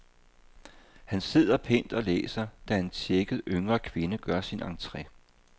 Han sidder pænt og læser, da en tjekket, yngre kvinde gør sin entre.